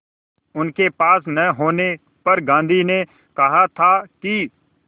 उनके पास न होने पर गांधी ने कहा था कि